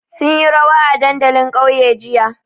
Sun yi rawa a dandalin ƙauye jiya.